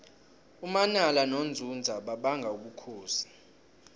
umanala nonzunza babanga ubukhosi